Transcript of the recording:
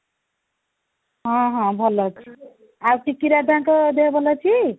ହଁ, ହଁ ଭଲ ଅଛି ଆଉ ଟିକି ଦାଦା ଙ୍କ ଦେହ ଭଲ ଅଛି